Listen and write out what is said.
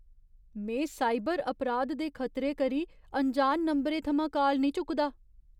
में साइबर अपराध दे खतरे करी अनजान नंबरें थमां काल नेईं चुकदा।